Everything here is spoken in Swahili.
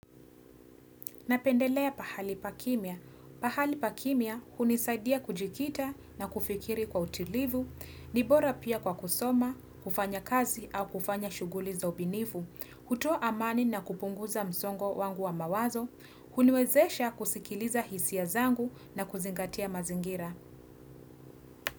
Napendelea pahali pa kimya. Pahali pa kimya hunisaidia kujikita na kufikiri kwa utilivu, ni bora pia kwa kusoma, kufanya kazi au kufanya shuguli za ubinifu, hutoa amani na kupunguza msongo wangu wa mawazo, huniwezesha kusikiliza hisia zangu na kuzingatia mazingira.